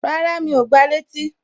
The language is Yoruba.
Rárá, Mi ò gba létí